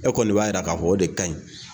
E kɔni b'a yira ka fɔ o de ka ɲi.